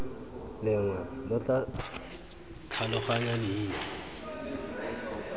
lengwe lo tla tlhaloganya leina